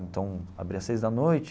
Então, abria às seis da noite,